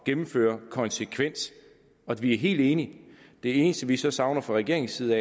gennemføre konsekvens og vi er helt enige det eneste vi så savner fra regeringens side